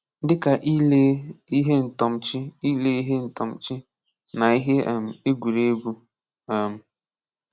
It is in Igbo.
Dịka ilee ihe ntọmchị ilee ihe ntọmchị na ihe um egwuregwu. um